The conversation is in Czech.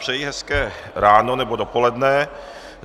Přeji hezké ráno nebo dopoledne.